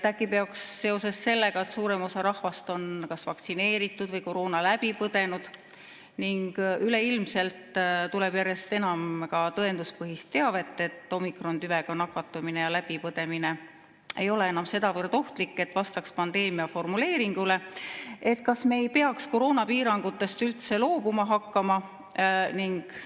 Äkki peaks seoses sellega, et suurem osa rahvast on kas vaktsineeritud või koroona läbi põdenud ning üleilmselt tuleb järjest enam tõenduspõhist teavet, et omikrontüvega nakatumine ja selle läbipõdemine ei ole enam sedavõrd ohtlik, et vastaks pandeemia formuleeringule, koroonapiirangutest üldse loobuma hakkama?